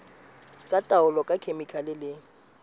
tsa taolo ka dikhemikhale le